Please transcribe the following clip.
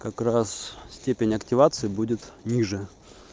как раз степень активации будет ниже